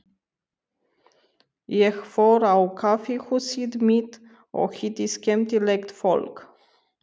Ég fór á kaffihúsið mitt og hitti skemmtilegt fólk.